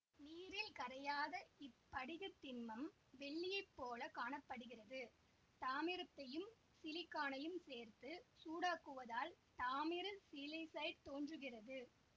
நீரில் கரையாத இப்படிகத் திண்மம் வெள்ளியைப் போலக் காண படுகிறது தாமிரத்தையும் சிலிக்கானையும் சேர்த்து சூடாக்குவதால் தாமிர சிலிசைடு தோன்றுகிறது